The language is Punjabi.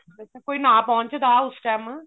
ਕੋਈ ਨਾ ਪਹੁੰਚਦਾ ਉਸ time